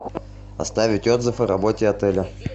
оставить отзыв о работе отеля